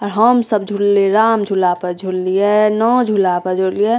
और हम सब झुल्ले राम झूला पर झूल लिए नो झूला पे झूल लिए |